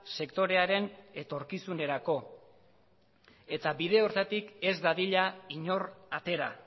sektorearen etorkizunerako eta bide horretatik ez dadila inor atera